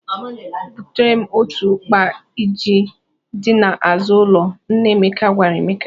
Butere m otu ukpa ji dị n'azụ ụlọ, " nna Emeka gwara Emeka.